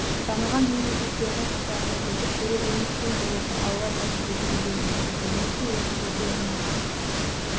дамыған мемлекеттердің қатарына жетіп тереземіз тең болуға алла нәсіп етсін дегім келеді мінеки осы жерде жиналған